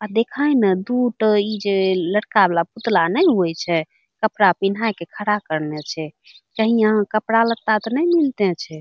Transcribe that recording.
अ देख ही ना दू ट इ जे लड़का वाला पुतला नइ होवे छे कपड़ा पिन्हा के खड़ा करने छे कही यहाँ कपड़ा लता त नाय मिलते छे |